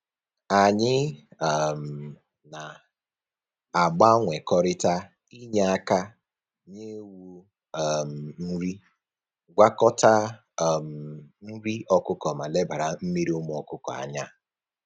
Anyị um na-agbanwekọrịta inye aka nye ewu um nri, gwakọta um nri ọkụkọ ma lebara mmiri ụmụ ọkụkọ anya